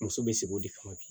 Muso bɛ sigi o de kama bi